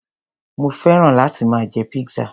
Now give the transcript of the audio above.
Mo féràn láti máa jẹ pizza.